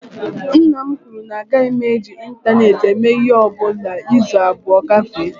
Nna m kwuru na agaghị m eji ịntaneetị eme ịhe ọbụla izu abụọ agafee